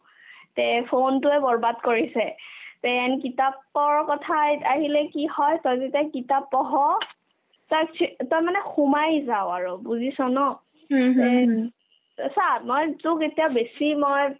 তে phone তোয়ে বৰ্বাদ কৰিছে then কিতাপৰ কথাইত আহিলে কি হয় তই যেতিয়া কিতাপ পঢ় তই মানে সোমাই যাও আৰু বুজি ন এই দি তই চা মই তোক এতিয়া বেছি মই